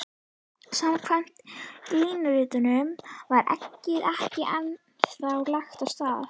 Samkvæmt línuritinu var eggið ekki ennþá lagt af stað.